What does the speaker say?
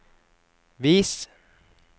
vis